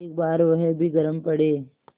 एक बार वह भी गरम पड़े